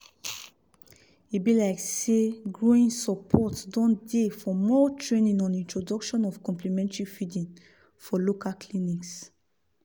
e be like seh growing support don dey for more training on introduction of complementary feeding for local clinics